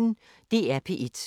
DR P1